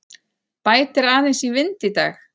Bætir aðeins í vind í dag